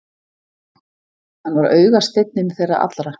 Hann var augasteinninn þeirra allra.